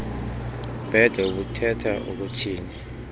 bhede ubuthetha ukuthini